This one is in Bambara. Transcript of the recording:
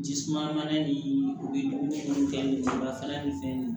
Ji suma mana nin u bɛ jugun fɛn nin bafa ni fɛn ninnu